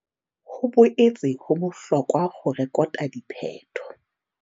Ho boetse ho bohlokwa ho rekota diphetho.